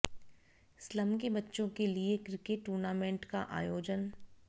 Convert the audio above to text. slum के बच्चों के लिए क्रिकेट टूर्नामेंट का आयोजन